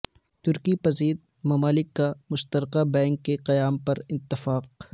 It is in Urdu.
ترقی پذیر ممالک کا مشترکہ بینک کے قیام پر اتفاق